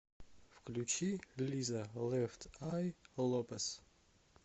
включи лиза лефт ай лопес